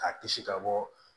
K'a kisi ka bɔ